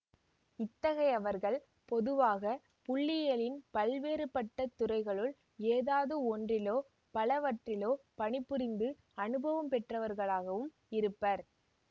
இத்தகையவர்கள் பொதுவாக புள்ளியியலின் பல்வேறுபட்ட துறைகளுள் ஏதாவது ஒன்றிலோ பலவற்றிலோ பணிபுரிந்து அனுபவம் பெற்றவர்களாகவும் இருப்பர்